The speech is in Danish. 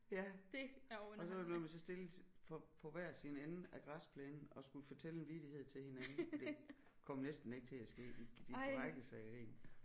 Ja og så var det noget med så stillede på på hver sin ende af græsplænen og skulle fortælle en vittighed til hinanden det kom næsten ikke til at ske de de brækkede sig af grin